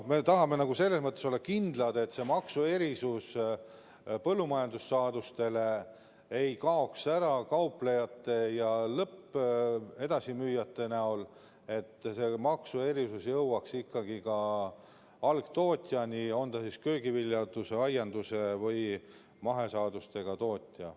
Me tahame olla kindlad, et selle põllumajandussaaduste maksuerisuse mõju ei kaoks ära kauplejate, lõpptarbija edasimüüjate valdkonda, vaid toetus jõuaks ka algtootjani, olgu ta köögiviljanduse, aiandus- või mahesaaduste tootja.